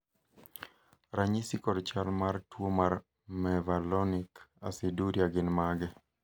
ranyisi kod chal mar tuo mar Mevalonic aciduria gin mage?